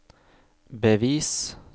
bevis